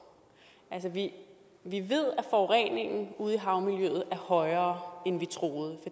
vi ved at forureningen ude i havmiljøet er højere end vi troede